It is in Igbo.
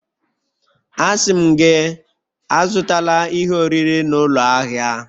Asị m gị, Azụtala ihe oriri n'ụlọ ahịa!